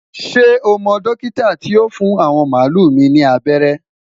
shey mo dókítà ti yóò fún awọn malu mi ni abẹrẹ?